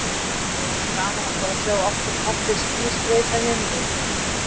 Svo væri auðvitað gaman að fá að sjá oftar falleg ský skreyta himininn.